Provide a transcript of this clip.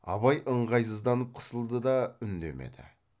абай ыңғайсызданып қысылды да үндемеді